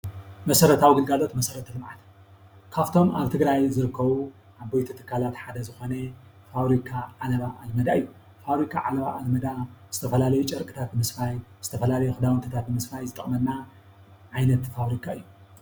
መሰረታዊ ግልጋሎት መሰረታዊ ልምዓት እዩ። ካፍቶም ኣብ ትግራይ ዝርከቡ ዓበይቲ ትካላት ሓደ ዝኾነ ፋብሪካ ዓለባ ኣልመዳ እዩ። ፋብሪካ ዓለባ ኣልመዳ ዝተፈላለዩ ጨርቅታት ምስፋይ ዝተፈላለዩ ክዳዉንትታት ምስፋይ ዝጠቅመና ዓይነት ፋብሪካ እዩ።